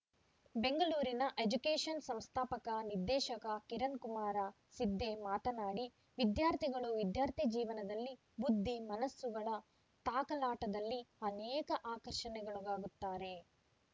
ಬೆಂಗಳೂರಿನ education shrine ಸಂಸ್ಥಾಪಕ ನಿರ್ದೇಶಕ ಕಿರಣಕುಮಾರ ಸಿದ್ಧೆ ಮಾತನಾಡಿ ವಿದ್ಯಾರ್ಥಿಗಳು ವಿದ್ಯಾರ್ಥಿ ಜೀವನದಲ್ಲಿ ಬುದ್ಧಿ ಮನಸ್ಸುಗಳ ತಾಕಲಾಟದಲ್ಲಿ ಅನೇಕ ಆಕರ್ಷಣೆಗೊಳಗಾಗುತ್ತಾರೆ